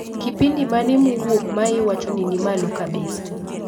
Kipindi mane mowuok maiwacho ni nimalo kabisa